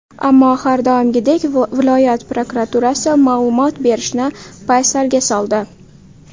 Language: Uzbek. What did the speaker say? Ammo har doimgidek viloyat prokuraturasi ma’lumot berishni paysalga soldi.